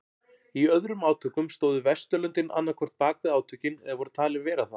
Í öðrum átökum stóðu Vesturlöndin annað hvort bakvið átökin eða voru talin vera það.